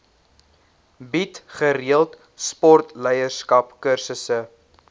bied gereeld sportleierskapskursusse